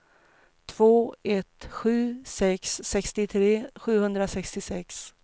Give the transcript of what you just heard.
två ett sju sex sextiotre sjuhundrasextiosex